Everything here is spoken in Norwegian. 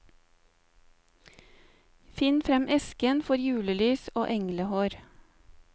Finn frem esken for julelys og englehår.